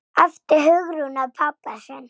æpti Hugrún á pabba sinn.